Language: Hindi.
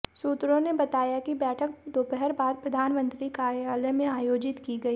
सूत्रों ने बताया कि बैठक दोपहर बाद प्रधानमंत्री कार्यालय में आयोजित की गई